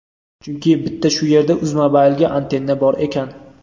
chunki bitta shu yerda uzmobile ga antenna bor ekan.